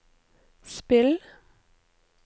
spill